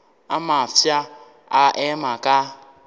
a mafsa a ema ka